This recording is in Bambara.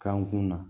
Kan kun na